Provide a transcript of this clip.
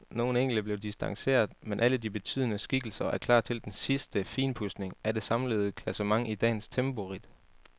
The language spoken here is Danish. Nogle enkelte blev distanceret, men alle de betydende skikkelser er klar til den sidste finpudsning af det samlede klassement i dagens temporidt.